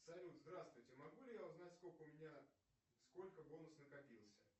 салют здравствуйте могу ли я узнать сколько у меня сколько бонус накопился